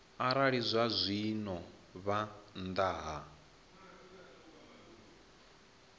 arali zwazwino vha nnḓa ha